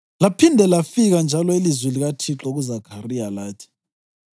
Laphinde lafika njalo ilizwi likaThixo kuZakhariya lathi: